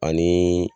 Ani